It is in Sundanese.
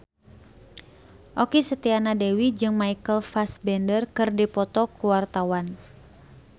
Okky Setiana Dewi jeung Michael Fassbender keur dipoto ku wartawan